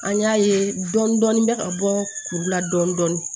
An y'a ye dɔɔnin dɔɔnin bɛ ka bɔ kuru la dɔɔnin dɔɔnin